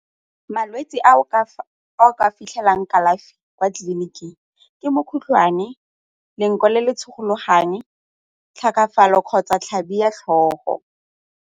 Malwetse a o ka fitlhelang kalafi kwa tleliniking ke mokgotlhwane, le nko le le tshologang, kgotsa 'tlhabi ya tlhogo.